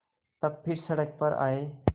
तब फिर सड़क पर आये